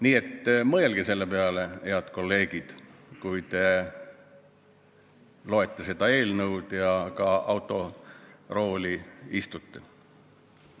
Nii et mõelge selle peale, head kolleegid, kui te loete seda eelnõu ja ka autorooli istute.